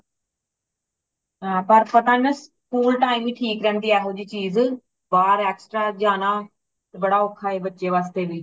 ਹੈ ਬੱਸ ਪਤਾ ਹੈ ਨਾ school time ਹੀ ਠੀਕ ਰਹਿੰਦੀ ਹੇ ਇਹੋ ਜੀ ਚੀਜ ਬਾਹਰ extra ਜਾਨਾ ਬੜਾ ਔਖਾ ਹੇ ਬੱਚੇ ਵਾਸਤੇ ਵੀ